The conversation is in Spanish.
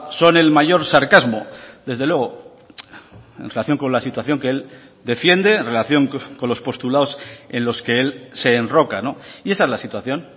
son el mayor sarcasmo desde luego en relación con la situación que él defiende en relación con los postulados en los que él se enroca y esa es la situación